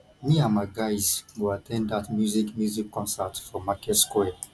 me and my guys go at ten d that music music concert for market square